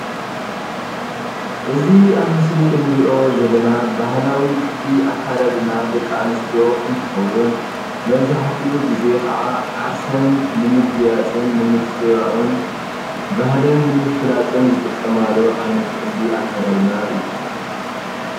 እዚ አብ ምስሊ እንሪኦ ዘለና ባህላዊ ቅዲ አከዳድና ደቂ አንስትዮ እንትኸውን መብዛሕትኡ ግዘ ከዓ ዓርሰን ንምግያፅን ንምፅብባቅን ባህልን ንምፍላጥን ዝጥቀማሉ ዓይነት ቅዲ አከዳድና እዩ።